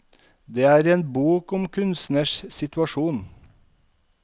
Det er en bok om en kunstners situasjon.